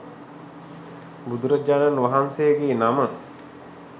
බුදුරජාණන් වහන්සේගේ නම